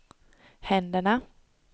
händerna